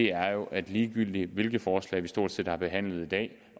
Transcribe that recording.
er jo at ligegyldigt hvilket forslag vi stort set har behandlet i dag